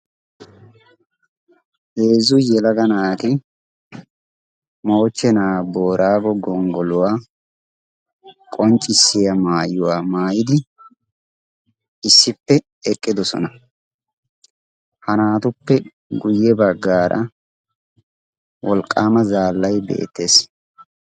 heezzu yelaga naati moochchenaa boraago gonggoluwaa qonccissiya maayuwaa maayi issippe eqqidosona ha naatuppe guyye baggaara wolqqaama zaallay beettees